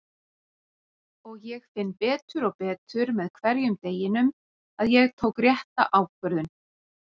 Og ég finn betur og betur með hverjum deginum að ég tók rétta ákvörðun.